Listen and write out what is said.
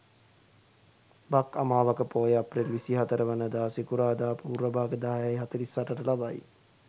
බක් අමාවක පෝය අප්‍රේල් 24 වන දා සිකුරාදා පූර්ව භාග 10.48 ට ලබයි.